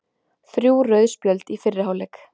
Þrjú rauð spjöld í fyrri hálfleik